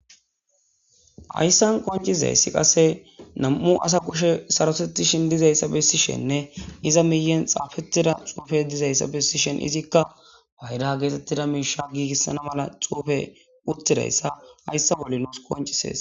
hayssan koncizayssi qasse nam7u asa qushe sarosettishin dizayssa bessishenne iza miyen xaafetida xuufe dizayssa bessishen izikka bayda geetettida miisha giigissana mala cuufe uttidayssa hayssa bolli nuus koncisees